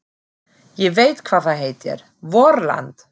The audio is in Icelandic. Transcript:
Ég veit hvað það heitir: VORLAND!